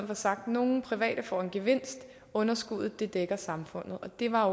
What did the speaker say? for sagt at nogle private får en gevinst og underskuddet dækker samfundet det var